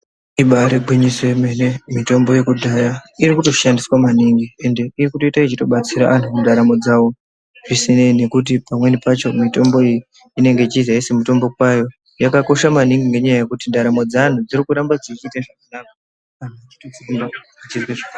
Ibari gwinyiso emene mitombo yekudhaya irikutoshandiswa maningi ende iri kutoita yechitobatsira antu mundaramo dzavo zvisinei nekuti pamweni pacho mitombo iyi inenge yechizi aisi mitombo kwayo, yakakosha maningi nekuti ndaramo dzeanhu dziri kuramba dzichiite zvakanaka anhu echikobatsirwa zvakanaka.